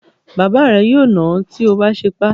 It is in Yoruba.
Bàbá rẹ yóò nà ọ́ tí o bá sépè.